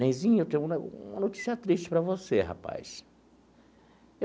Nenzinho, eu tenho uma uma notícia triste para você, rapaz.